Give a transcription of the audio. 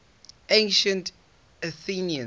ancient athenians